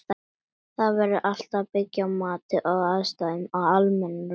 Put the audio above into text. Það verður að byggja á mati á aðstæðum og almennum reglum.